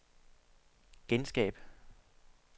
genskab